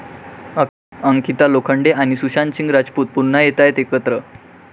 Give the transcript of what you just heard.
अंकिता लोखंडे आणि सुशांत सिंग राजपूत पुन्हा येतायत एकत्र